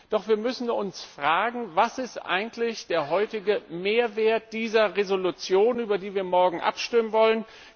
Doch wir müssen uns fragen Was ist eigentlich der heutige Mehrwert dieser Entschließung, über die wir morgen abstimmen wollen?